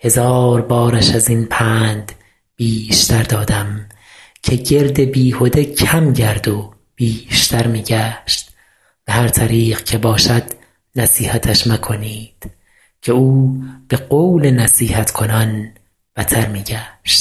هزار بارش از این پند بیشتر دادم که گرد بیهده کم گرد و بیشتر می گشت به هر طریق که باشد نصیحتش مکنید که او به قول نصیحت کنان بتر می گشت